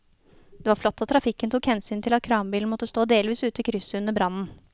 Det var flott at trafikken tok hensyn til at kranbilen måtte stå delvis ute i krysset under brannen.